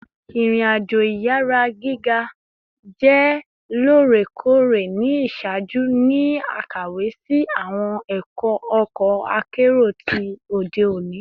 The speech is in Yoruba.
Irin-ajo iyara giga jẹ loorekoore ni iṣaaju ni akawe si awọn ọkọ akero ti ode oni